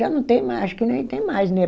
Já não tem mais, acho que nem tem mais, né?